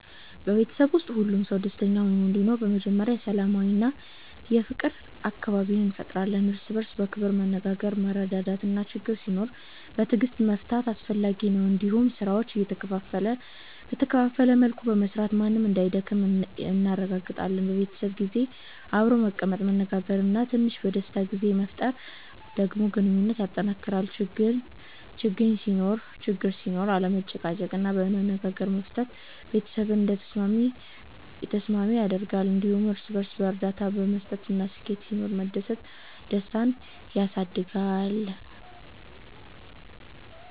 በቤተሰብ ውስጥ ሁሉም ሰው ደስተኛ ሆኖ እንዲኖር በመጀመሪያ ሰላማዊ እና የፍቅር አካባቢ እንፈጥራለን። እርስ በእርስ በክብር መነጋገር፣ መረዳዳት እና ችግኝ ሲኖር በትዕግስት መፍታት አስፈላጊ ነው። እንዲሁም ስራዎችን በተከፋፈለ መልኩ በመስራት ማንም እንዳይደክም እናረጋግጣለን። በቤተሰብ ጊዜ አብሮ መቀመጥ፣ መነጋገር እና ትንሽ የደስታ ጊዜ መፍጠር ደግሞ ግንኙነትን ያጠናክራል። ችግኝ ሲኖር አለመጨቃጨቅ እና በመነጋገር መፍታት ቤተሰብን የተስማሚ ያደርጋል። እንዲሁም ለእርስ በእርስ እርዳታ መስጠት እና ስኬት ሲኖር መደሰት ደስታን ያሳድጋል።